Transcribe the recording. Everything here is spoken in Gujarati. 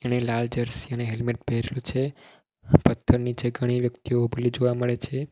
ને લાલ જર્સી અને હેલ્મેટ પહેર્યું છે અને પથ્થર નીચે ઘણી વ્યક્તિઓ ઊભલી જોવા મળે છે.